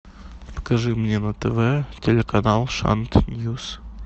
покажи мне на тв телеканал шант ньюс